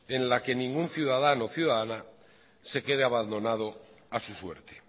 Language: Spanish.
en la que ningún ciudadano o ciudadana se quede abandonado a su suerte